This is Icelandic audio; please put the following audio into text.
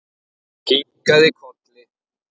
Kinkað kolli.